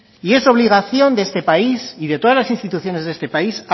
y es obligación de este país y de todas las instituciones de este país